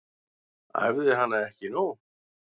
Æfði hana ekki nóg.